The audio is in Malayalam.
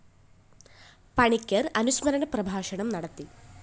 പണിക്കര്‍ അനുസ്മരണ പ്രഭാഷണം നടത്തി